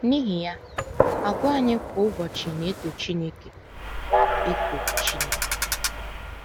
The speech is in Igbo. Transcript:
N’ihi ya, àgwà anyị kwa ụbọchị na - eto Chineke - eto Chineke.